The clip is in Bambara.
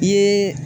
I ye